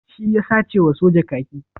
Shi ya sace wa soja kaki?